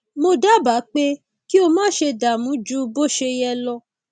mo dábàá pé kí o máṣe dààmú ju bó ṣe yẹ lọ